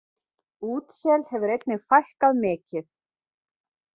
Útsel hefur einnig fækkað mikið.